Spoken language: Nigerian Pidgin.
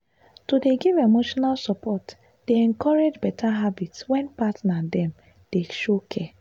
to dey give emotional support dey encourage better habits when partner dem dey show care.